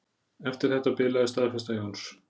Eftir þetta bilaði staðfesta Jóns.